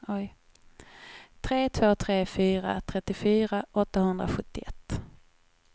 tre två tre fyra trettiofyra åttahundrasjuttioett